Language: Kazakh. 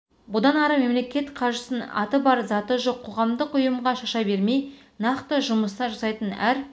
бұдан ары мемлекет қаржысын аты бар заты жоқ қоғамдық ұйымға шаша бермей нақты жұмыстар жасайтын әр